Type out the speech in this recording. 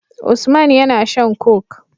Usman yAna shan coke